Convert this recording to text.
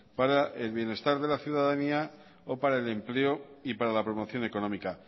para le bienestar de la ciudadanía o para el empleo y para la promoción económica